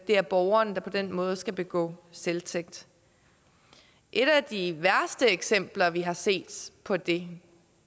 er borgeren der på den måde skal begå selvtægt et af de værste eksempler vi har set på det